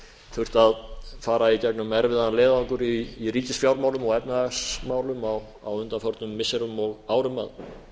þurft að fara í gegnum erfiðan leiðangur í ríkisfjármálum og efnahagsmálum á undanförnum missirum og árum að